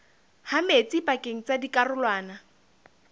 ha metsi pakeng tsa dikarolwana